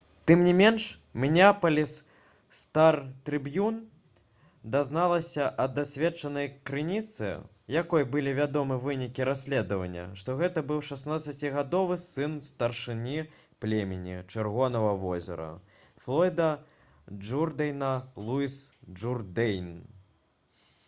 тым не менш «мінеапаліс стар-трыбьюн» дазналася ад дасведчанай крыніцы якой былі вядомы вынікі расследавання што гэта быў 16-гадовы сын старшыні племені «чырвонага возера» флойда джурдэйна луіс джурдэйн